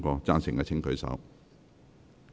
贊成的請舉手。